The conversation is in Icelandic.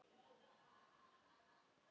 Far vel elsku Fróðný.